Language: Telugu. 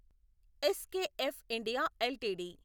SKF India LTD